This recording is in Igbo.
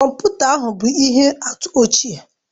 Kọmputa ahụ bụ ihe atụ ochie